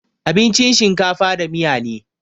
Abincin shinkafa da miya ne